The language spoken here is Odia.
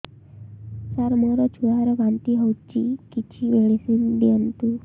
ସାର ମୋର ଛୁଆ ର ବାନ୍ତି ହଉଚି କିଛି ମେଡିସିନ ଦିଅନ୍ତୁ